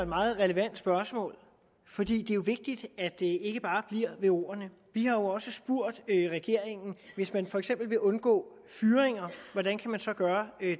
meget relevant spørgsmål for det er jo vigtigt at det ikke bare bliver ved ordene vi har også spurgt regeringen hvis man for eksempel vil undgå fyringer hvordan kan man så gøre